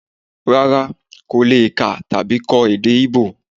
Rara, ko le kà tabi kọ èdè íbò?